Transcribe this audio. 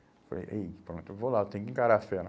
Eu falei, ei, pronto, eu vou lá, eu tenho que encarar a fera.